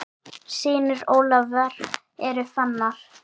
Synir Ólafar eru Fannar.